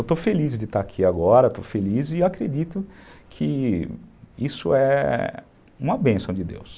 Eu estou feliz de estar aqui agora, estou feliz e acredito que isso é uma bênção de Deus.